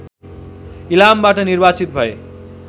इलामबाट निर्वार्चित भए